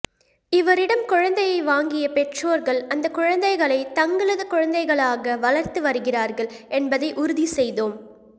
இவரிடம் குழந்தையை வாங்கிய பெற்றோர்கள் அந்த குழந்தைகளை தங்களது குழந்தைகளாக வளர்த்துவருகிறார்கள் என்பதை உறுதிசெய்தோம்